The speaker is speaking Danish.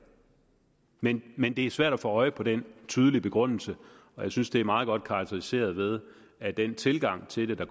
men men det er svært at få øje på den tydelige begrundelse og jeg synes det er meget godt karakteriseret ved at den tilgang til det